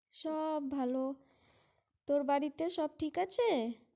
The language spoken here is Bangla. সব ভালো। তোর বাড়িতে সব ঠিক আছে?